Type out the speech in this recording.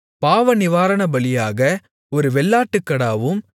பாவநிவாரணபலியாக ஒரு வெள்ளாட்டுக்கடாவும்